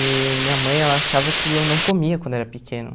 E minha mãe, ela achava que eu não comia quando eu era pequeno.